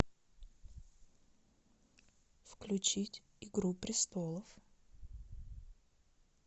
включить игру престолов